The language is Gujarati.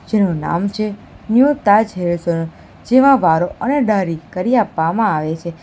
તેનું નામ છે ન્યુ તાજ હેર સલૂન જેમાં વારો અને દાઢી કરી આપવામાં આવે છે.